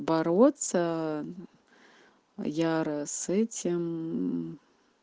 бороться яро с этим мм